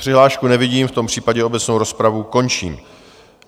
Přihlášku nevidím, v tom případě obecnou rozpravu končím.